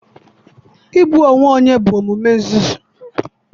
Igbu onwe onye bụ omume nzuzu.